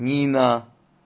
нина